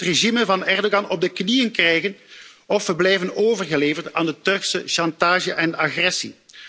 We moeten het regime van Erdogan op de knieën krijgen of we blijven overgeleverd aan de Turkse chantage en agressie.